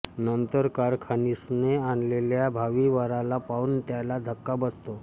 नंतर कारखानीसने आणलेल्या भावी वराला पाहून त्याला धक्का बसतो